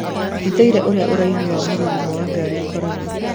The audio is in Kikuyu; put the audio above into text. Ndĩthũire ũrĩa ũraihu wa mũrurumo wa ngari ũkoragwo